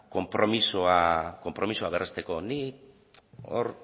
konpromisoa berresteko nik hor